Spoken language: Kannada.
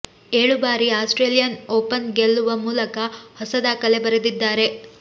ಏಳು ಬಾರಿ ಆಸ್ಟ್ರೇಲಿಯನ್ ಓಪನ್ ಗೆಲ್ಲುವ ಮೂಲಕ ಹೊಸ ದಾಖಲೆ ಬರೆದಿದ್ದಾರೆ